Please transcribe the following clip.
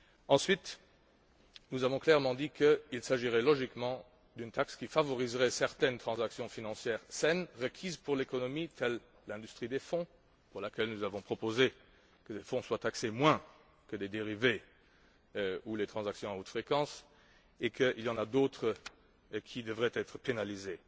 Ensuite, nous avons clairement dit qu'il s'agirait logiquement d'une taxe qui favoriserait certaines transactions financières saines requises pour l'économie, telle l'industrie des fonds, pour laquelle nous avons proposé que les fonds soient moins taxés que les dérivés ou les transactions à haute fréquence, et qu'il y en a d'autres qui devraient être pénalisées.